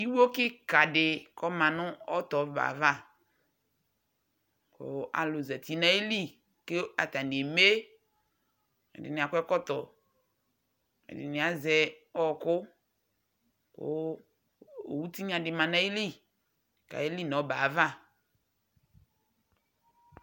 iwo keka di k'ɔma no t'ɔbɛ ava kò alò zati n'ayili k'atani eme ɛdini akɔ ɛkɔtɔ ɛdini azɛ ɔkò kò owu tinya di ma n'ayili k'aye li n'ɔbɛ ava